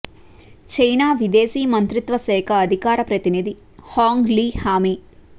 China విదేశీ మంత్రిత్వ శాఖ అధికార ప్రతినిధి హాంగ్ లీ హామీ